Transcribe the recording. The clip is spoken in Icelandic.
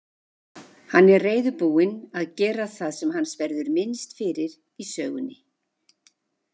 Hann er reiðubúinn að gera það sem hans verður minnst fyrir í sögunni.